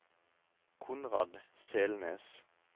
Konrad Selnes